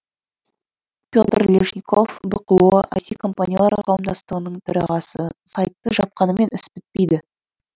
петр лежников бқо іт компаниялар қауымдастығының төрағасы сайтты жапқанымен іс бітпейді